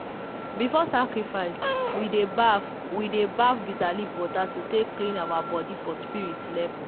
before sacrifice we dey baff we dey baff bitterleaf water to take clean our body for spirit level.